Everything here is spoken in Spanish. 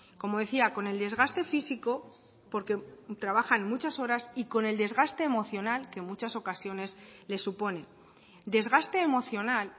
como decía con el desgaste físico porque trabajan muchas horas y con el desgaste emocional que en muchas ocasiones le supone desgaste emocional